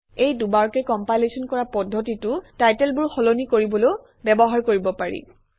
এই দুবাৰকৈ কমপাইলেচন কৰা পদ্ধতিটো টাইটেলবোৰ সলনি কৰিবলৈও ব্যবহাৰ কৰিব পাৰি